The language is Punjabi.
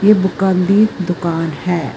ਇਹ ਬੁਕਾਂ ਦੀ ਦੁਕਾਨ ਹੈ।